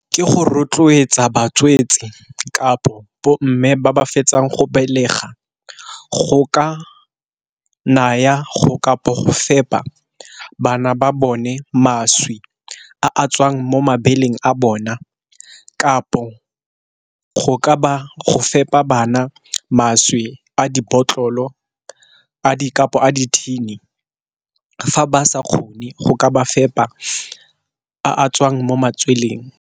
Ke go rotloetsa batswetsi kapo mme ba ba fetsang go belega, go ka naya kampo go fepa bana ba bone mašwi a tswang mo mabeleng a bona. Kapo go ba fepa bana mašwi a dibotlolo Kapo a di thini fa ba sa kgone go ka ba fepa a tswang mo matsweleng.